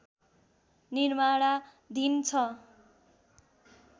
निर्माणाधीन छ